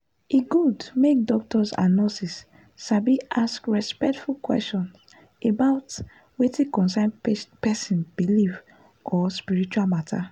e good make doctors and nurses sabi ask respectful question about wetin concern person belief or spiritual matter.